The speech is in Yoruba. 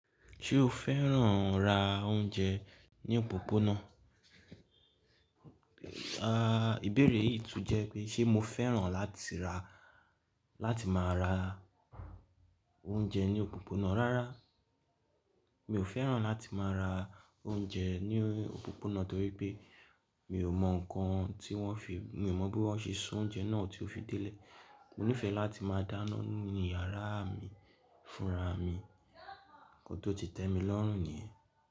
Ṣé o fẹ́ràn ra oúnjẹ ní òpópónà? Ah, ìbéèrè yìí tún jẹ́ pé, ṣe mo fẹ́ràn láti ra láti máa ra oúnjẹ ní òpópónà? Rárá, mi ò fẹ́ràn láti máa ra oúnjẹ ní òpópónà torí pé mi ò mọ nǹkan tí wọ́n fi, mi ò mọ bí wọ́n ṣe soúnjẹ náà tó fi délé. Mo nífẹ̀ẹ́ láti máa dáná nínú yàrá mi fúnra mi, nkan tó ti tẹ́ mi lọ́rùn ni yen.